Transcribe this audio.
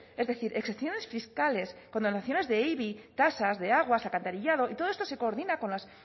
es decir exenciones fiscales condonaciones de ibi tasas de aguas alcantarillado y todo esto se coordina con las